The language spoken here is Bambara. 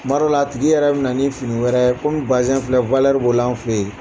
Kuma dƆw a tigi yɛrɛ bɛna ni fini wɛrɛ komi bazƐn yƐrƐ filɛ b' o la anw fɛ yen